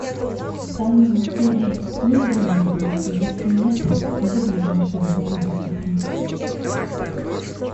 в данном отеле есть зона барбекю если нет то где ближайшая зона барбекю